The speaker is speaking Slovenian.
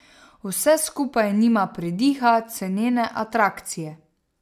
Vse skupaj nima pridiha cenene atrakcije.